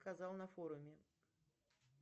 сказал на форуме